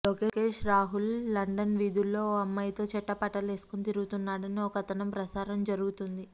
Lokesh Rahul London వీధుల్లో ఓ అమ్మాయితో చెట్టాపట్టాలేసుకుని తిరుగుతున్నాడని ఓ కథనం ప్రసారం జరుగుతోంది